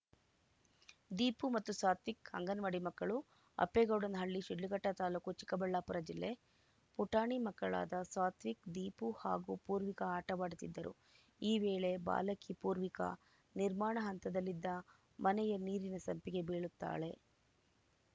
ದೀಪು ಮತ್ತು ಸಾತ್ವಿಕ್‌ ಅಂಗನವಾಡಿ ಮಕ್ಕಳು ಅಪ್ಪೇಗೌಡನಹಳ್ಳಿ ಶಿಡ್ಲಘಟ್ಟತಾಲೂಕು ಚಿಕ್ಕಬಳ್ಳಾಪುರ ಜಿಲ್ಲೆ ಪುಟಾಣಿ ಮಕ್ಕಳಾದ ಸಾತ್ವಿಕ್‌ ದೀಪು ಹಾಗೂ ಪೂರ್ವಿಕಾ ಆಟವಾಡುತ್ತಿದ್ದರು ಈ ವೇಳೆ ಬಾಲಕಿ ಪೂರ್ವಿಕ ನಿರ್ಮಾಣ ಹಂತದಲ್ಲಿದ್ದ ಮನೆಯ ನೀರಿನ ಸಂಪಿಗೆ ಬೀಳುತ್ತಾಳೆ